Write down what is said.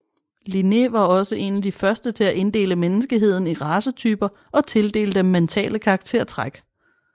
Linné var også en af de første til at inddele menneskeheden i racetyper og tildele dem mentale karaktertræk